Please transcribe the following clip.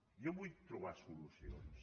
jo vull trobar solucions